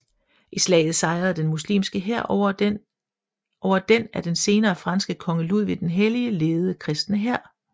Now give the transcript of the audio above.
I slaget sejrede den muslimske hær over den af den senere franske konge Ludvig den Hellige ledede kristne hær